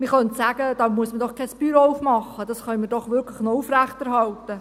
Man könnte sagen, da muss man doch kein «Büro auftun», das können wir doch wirklich noch aufrechterhalten.